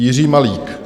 Jiří Malík.